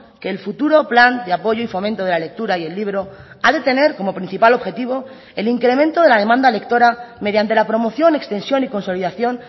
que el futuro plan de apoyo y fomento de la lectura y el libro ha de tener como principal objetivo el incremento de la demanda lectora mediante la promoción extensión y consolidación